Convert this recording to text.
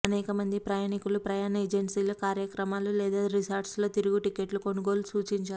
అనేక మంది ప్రయాణికులు ప్రయాణ ఏజన్సీల కార్యాలయాలు లేదు రిసార్ట్స్ లో తిరుగు టిక్కెట్లు కొనుగోలు సూచించారు